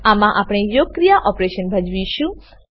આમાં આપણે યોગક્રિયા ઓપેરેશન ભજવીશું